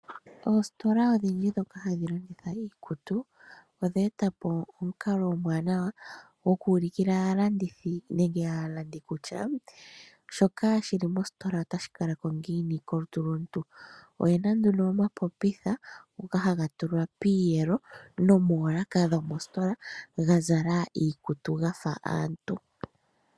Oostola odhindji dhoka hadhi landitha iikutu odheeta po omukalo omwaanawa gokuulukila aalandithi nenge aalandi kutya, shoka shili mostola otashi kalako ngiini kolutu lomuntu. Oyena nduno omapopitha ngoka haga tulwa piiyelo nomoolaaka dhomositola gazala iikutu gafa aantu.